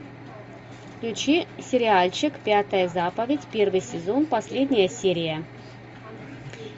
включи сериальчик пятая заповедь первый сезон последняя серия